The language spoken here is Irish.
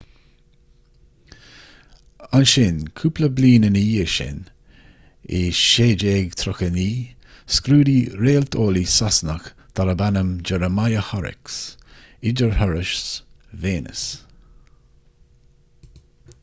ansin cúpla bliain ina dhiaidh sin i 1639 scrúdaigh réalteolaí sasanach darb ainm jeremiah horrocks idirthuras véineas